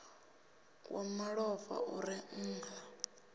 wa malofha u re nha